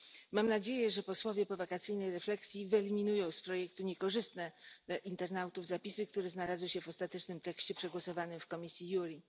Mam nadzieję, że posłowie po wakacyjnej refleksji wyeliminują z projektu niekorzystne dla internautów zapisy, które znalazły się w ostatecznym tekście przegłosowanym w komisji JURI.